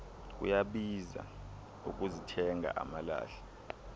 kuyabiza ukuzithenga amalahle